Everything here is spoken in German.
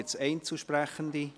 Gibt es Einzelsprechende?